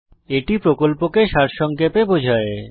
এটি প্রকল্পকে সারসংক্ষেপে বোঝায়